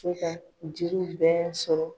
Fo ka jiriw bɛɛ sɔrɔ.